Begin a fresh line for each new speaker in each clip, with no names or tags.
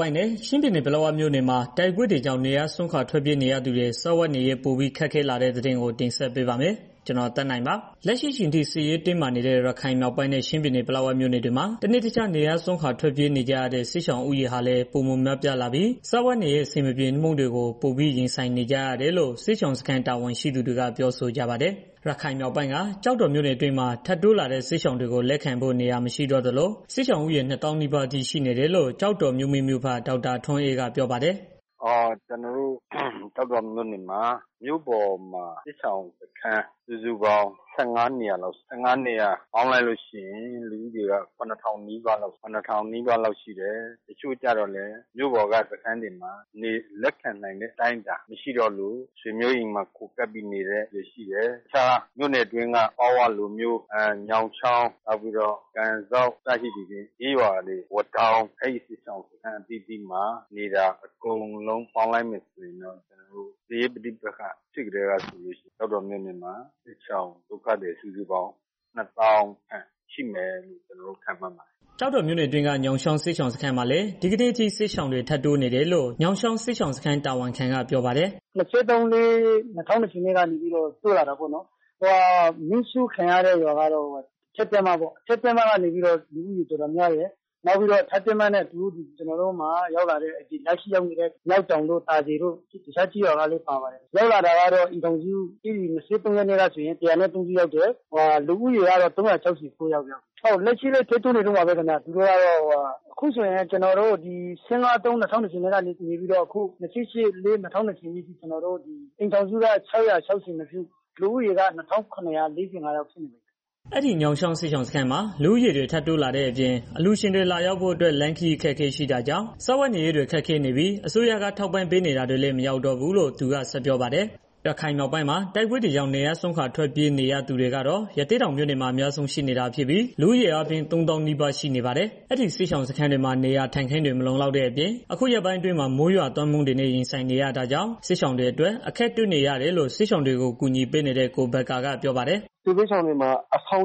ပိုင်းနဲ့ ချင်းပြည်နယ် ပလက်ဝမြို့နယ်တွေမှာ တိုက်ပွဲတွေကြောင့် နေရပ်စွန့်ခွာထွက်ပြေးနေကြရသူတွေ စားဝတ်နေရေး ပိုပြီး ခက်ခဲလာနေတဲ့သတင်း ကိုသက်နိုင် တင်ဆက်ပေးပါမယ်။ လက်ရှိအချိန်ထိ စစ်ရေးတင်းမာနေတဲ့ ရခိုင်မြောက်ပိုင်းနဲ့ ချင်းပြည်နယ် ပလက်ဝမြို့နယ်တွေမှာ တစ်နေ့ တစ်ခြား နေရပ်စွန့်ခွာထွက်ပြေးနေကြရတဲ့ စစ်ရှောင်ဦးရေဟာလည်း ပိုမို များပြားလာပြီးစားဝတ်နေရေး အဆင်မပြေမှုတွေကို ပိုမိုရင်ဆိုင်နေကြရတယ်လို့ စစ်ရှောင်စခန်း တာဝန်ရှိသူတွေက ပြောဆိုကြပါတယ်။ ရခိုင်မြောက်ပိုင်းက ကျောက်တော်မြို့နယ်အတွင်းမှာ ထပ်တိုးလာတဲ့ စစ်ရှောင်တွေကို လက်ခံဖို့ နေရာမရှိ တော့သလို စစ်ရှောင်ဦးရေ ၂၀,၀၀၀ နီးပါးအထိ ရှိနေတယ်လို့ ကျောက်တော်မြို့မိမြို့ဖ ဒေါက်တာ ထွန်းအေးက ပြောပါတယ်။
"ကျနော်တို့ ကျောက်တော်မြို့နယ်မှာ မြို့ပေါ်မှာ စစ်ရှောင်စခန်းစုစုပေါင်း ၁၅ နေရာလောက်ရှိတယ်။ လူဦးရေကတော့ ၇,၀၀၀ နီးပါးလောက်ရှိတယ်။ ထပ်တိုးလာတဲ့ သူတွေကို လက်ရှိအချိန်မှာ မြို့ပေါ်က စခန်းတွေမှာ လက်ခံနိုင်တဲ့ အနေအထား မရှိတော့လို့ ဆွေမျိုးတွေ အိမ်မှာ ခိုကပ်ပြီးနေတဲ့ သူရှိတယ်။ နောက်ပြီးတော့ ကျောက်တော်မြို့နယ်အတွင်းက တစ်ခြားကျေးရွာတွေမှာလည်း နေကြတယ်။ အကုန်လုံး ပေါင်းလိုက် မယ်ဆိုရင်တော့ တိုက်ပွဲဖြစ်ကတည်းကဆိုရင် စစ်ရှောင် ၂၀,၀၀၀ လောက်ရှိမယ်လို့ ခန့်မှန်းရတယ်
။" ကျောက်တော်မြို့နယ်အတွင်းက ညောင်ချောင်း စစ်ရှောင်စခန်းမှာလည်း ဒီကနေ့အထိ စစ်ရှောင် ထပ်တိုးနေတယ်လို့ ညောင်ချောင်းစစ်ရှောင်စခန်း တာဝန်ခံက ပြောပါတယ်။
"ဧပြီလ ၂၃ ၂၄ရက်လောက်က တိုးလာတာပေါ့နော်။ မီးရှိှု့ခံရတဲ့ အထက်တင်းမ ကျေးရွာကတော့ လူဦးရေ တော်တော်များတယ်။ ပြီးတော့ အထက်တင်းမကလူတွေနဲ့ အတူရောက်လာတဲ့ မျောက်တောင်တို့ သာစည်တို့ တခြားကျေးရွာတွေကလည်း ပါပါတယ်။ ၂၃ ရက်နေ့ကဆိုရင် အိမ်ထောင်စု ၁၀၃ စုရောက်တယ်။ လက်ရှိလည်း ထပ်တိုးနေတုန်းပါပဲ ခင်ဗျာ။ လက်ရှိအချိန်ထိ ညောင်ချောင်းစစ်ရှောင်စခန်းမှာ အိမ်ထောင်စုက ၆၀၀ ကျော် လူဦးရေကတော့ ၂,၇၄၅ ယောက်ဖြစ်နေပါပြီခ
င်ဗျာ။" အဲဒီညောင်ချောင်း စစ်ရှောင်စခန်းမှာ လူဦးရေတွေ တိုးလာတဲ့ အပြင် အလှူရှင်လာရောက်ဖို့ အတွက်လမ်းခရီး အခက်အခဲ ရှိတာကြောင့် စားဝတ်နေရေးတွေ ခက်ခဲနေပြီး အစိုးရက ထောက်ပံ့ပေးနေတာတွေလည်း မရောက်တော့ဘူးလို့ သူက ဆက်ပြောပါတယ်။ ရခိုင်မြောက်ပိုင်းမှာ တိုက်ပွဲတွေကြောင့် နေရပ်စွန့်ခွာ ထွက်နေကြသူတွေကတော့ ရသေ့တောင်မြို့နယ်မှာ အများဆုံးရှိနေတာဖြစ်ပြီး လူဦးရေအားဖြင့် ၃၀,၀၀၀ နီးပါးရှိနေပါတယ်။ အဲဒီစစ်ရှောင်စခန်းတွေမှာ နေရာထိုင်ခင်းတွေ မလုံလောက်တဲ့ အပြင် အခုရက်ပိုင်းအတွင်းမှာ မိုးရွာသွန်းမှုတွေနဲ့ ရင်ဆိုင်နေရတာကြောင့် စစ်ရှောင်တွေအတွက် အခက်တွေ့နေရတယ်လို့ စစ်ရှောင်တွေကို ကူညီပေးနေတဲ့ ကိုဘက္ကာက ပြောပါတယ်။ "
စစ်ရှောင်တွေမှာ အဆောင်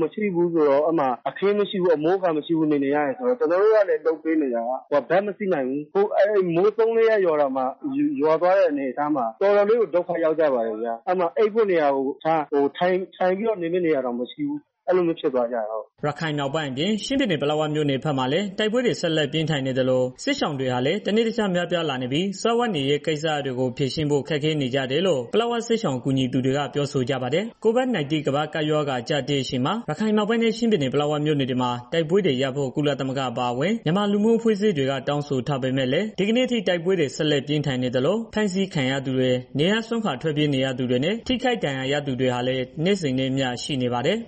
မရှိဘူး၊ အခင်းမရှိဘူး၊ အမိုးမရှိဘူး။ ကျနော်တို့ကလည်း လုပ်ပေးနေတာ လိုက်မမှီဘူး။ ဒီမှာ မိုး ၃ ရက်လောက် ရွာသွားတဲ့ အနေအထားမှာ တော်တော်လေးကို ဒုက္ခရောက်ကြပါတယ်ဗျာ။ အိပ်ဖို့နေရာကို ထထိုင်နေဖို့ နေရာကို မရှိတဲ့ အနေအထားကို ရောက်သွားတယ်။
" ရခိုင်မြောက်ပိုင်းအပြင် ချင်းပြည်နယ် ပလက်ဝမြို့နယ်ဘက်မှာလည်း တိုက်ပွဲတွေ ဆက်လက်ပြင်းထန်နေသလို စစ်ရှောင်တွေဟာလည်း တနေ့တခြား များပြားလာနေပြီး စားဝတ်နေရေး ကိစ္စရပ်တွေကို ဖြေရှင်းဖို့ ခက်ခဲ့နေကြတယ်လို့ ပလက်ဝ စစ်ရှောင်ကူညီသူတွေက ပြောဆိုကြပါတယ်။ COVID-19 ကမ္ဘာ့ကပ်ရောဂါအကြပ်အတည်းအချိန်မှာ ရခိုင်မြောက်ပိုင်းနဲ့ ချင်းပြည်နယ် ပလက်ဝမြို့နယ်တွေမှာ တိုက်ပွဲတွေရပ်ဖို့ ကုလသမဂ္ဂအပါဝင် မြန်မာ လူမှုအဖွဲ့အစည်းတွေက တောင်းဆိုးထားပေမဲ့လည်း ဒီကနေ့အထိ တိုက်ပွဲတွေ ဆက်လက်ပြင်းထန်နေသလို ဖမ်းဆီးခံရသူတွေ နေရပ်စွန့်ခွာထွက်ပြေးနေရသူတွေနဲ့ ထိခိုက်ဒဏ်ရာရသူတွေဟာလည်း နေ့စဉ်နဲ့အမျှရှိနေပါတယ်။